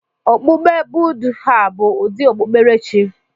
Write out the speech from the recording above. Okpukpe Buddha bụ ụdị okpukpere chi.